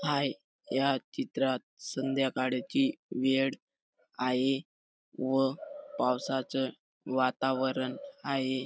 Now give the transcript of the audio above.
हाय या चित्रात संध्याकाळची वेळ आहे व पावसाचं वातावरण आहे.